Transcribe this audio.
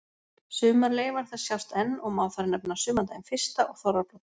Sumar leifar þess sjást enn og má þar nefna sumardaginn fyrsta og þorrablót.